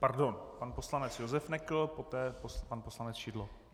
Pardon, pan poslanec Josef Nekl, poté pan poslanec Šidlo.